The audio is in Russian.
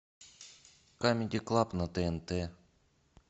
камеди клаб на тнт